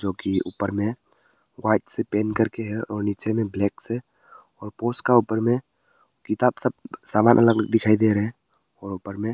जो कि ऊपर में व्हाइट से पेंट करके है और नीचे में ब्लैक से और पोस का ऊपर में किताब सब सामान अलग अलग दिखाई दे रहे हैं और ऊपर में--